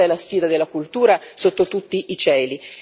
Questa è la sfida della cultura sotto tutti i cieli.